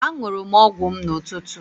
Aṅụrụ m ọgwụ m n'ụtụtụ.